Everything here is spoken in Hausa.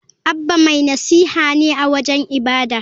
Abba mai nasiha ne a wajen ibada.